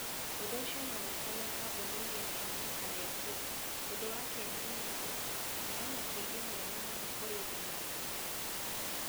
Ũndũ ũcio no ũtũme kambuni ĩgĩe na hinya kana ĩkue. Ũndũ wa kĩeha nĩ atĩ, kũheana ũteithio mwega mũno kũrĩ ũndũ mũritũ.